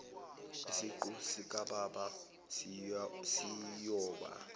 isiqu sikababa siyoba